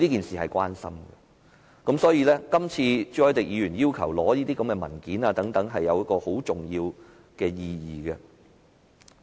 所以，今次朱凱廸議員要求政府提供這些文件，有很重要的意義。